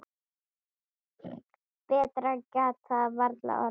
Betra gat það varla orðið.